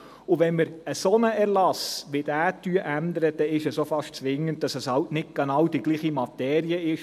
Wenn wir einen solchen Erlass, wie diesen hier, ändern, ist es auch fast zwingend, auch wenn es nicht genau die gleiche Materie ist.